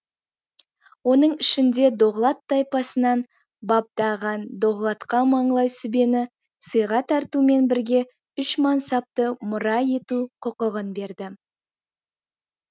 оның ішінде доғлат тайпасынан бабдаған доғлатқа маңлай сүбені сыйға тартумен бірге үш мансапты мұра ету құқығын берді